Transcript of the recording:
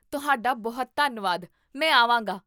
ਤੁਹਾਡਾ ਬਹੁਤ ਧੰਨਵਾਦ, ਮੈਂ ਆਵਾਂਗਾ!